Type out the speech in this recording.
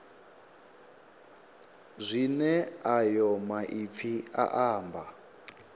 zwine ayo maipfi a amba